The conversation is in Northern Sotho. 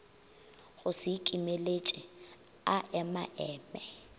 go se ikimeletše a emaeme